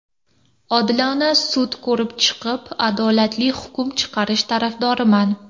Odilona sud ko‘rib chiqib, adolatli hukm chiqarish tarafdoriman.